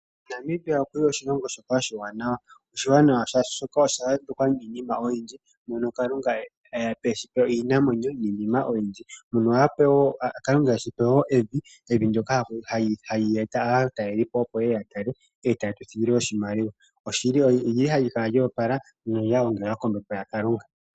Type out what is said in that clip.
Namibia oshilongo oshiwaanawa. Oshiwanawa, oshoka osha yambekwa niinima oyindji moka Kalunga e ya pe eshito, iinamwenyo niinima oyindji. Kalunga okweshi pe woo evi ndyoka hali eta aatalelipo, opo ye ye ya tale e taya etelele oshimaliwa. Evi ohali kala lyo opala nolya gongala kombepo ya Kalunga.